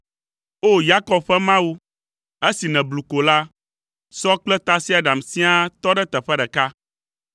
O! Yakob ƒe Mawu, esi nèblu ko la, sɔ kple tasiaɖam siaa tɔ ɖe teƒe ɖeka.